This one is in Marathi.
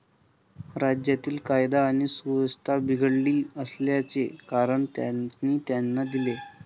राज्यातील कायदा आणि सुव्यवस्था बिघडली असल्याचे कारण त्यांनी त्यांना दिले.